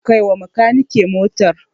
Kai wa Bakanike motar.